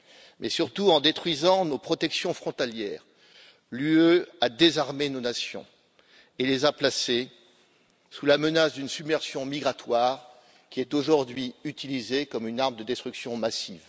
Mais surtout, en détruisant nos protections frontalières, l'UE a désarmé nos nations et les a placées sous la menace d'une submersion migratoire aujourd'hui utilisée comme une arme de destruction massive.